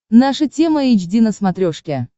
наша тема эйч ди на смотрешке